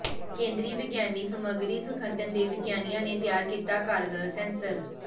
ਕੇਂਦਰੀ ਵਿਗਿਆਨੀ ਸਮੱਗਰੀ ਸੰਗਠਨ ਦੇ ਵਿਗਿਆਨੀਆਂ ਨੇ ਤਿਆਰ ਕੀਤਾ ਕਾਰਗਰ ਸੈਂਸਰ